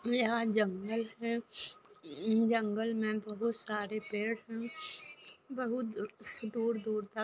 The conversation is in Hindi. यहाँ जंगल है जंगल मे बहोत सारे पेड़ है बहुत दूर दूर तक--